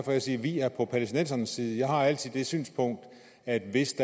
jeg siger vi er på palæstinensernes side jeg har altid det synspunkt at hvis